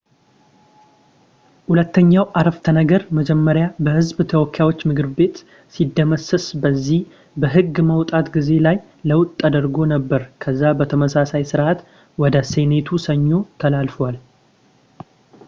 ሁለተኛው ዓረፍተነገር መጀመሪያ በህዝብ ተወካዮች ምክር ቤት ሲደመሰስ በዚህ በህግ ማውጣት ጊዜ ላይ ለውጥ ተደርጎ ነበር ከዛ በተመሳሳይ ስርዓት ወደ ሴኔቱ ሰኞ ተላልፏል